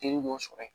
Jeli b'o sɔrɔ yen